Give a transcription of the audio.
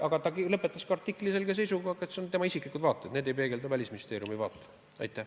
Aga ta lõpetas oma artikli selge kinnitusega, et need on tema isiklikud seisukohad, need ei peegelda Välisministeeriumi seisukohti.